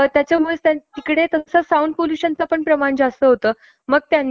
एक दिवस odd number चा गाड्या वापरायचा , एक दिवस इव्हन नंबर चा गाड्या वापरायचा .